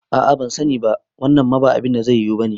A'a bansani ba, wannan ma ba abinda zai yiwu bane